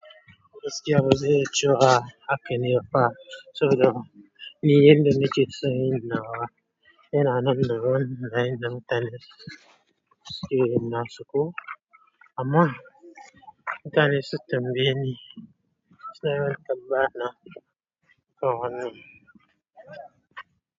Ina matsayin haka ne, saboda ni yarda nake son yin nawa yana nan daban da yanda mutane suke son yin nasu koh? Amma, mutane suna yawan tambaya na.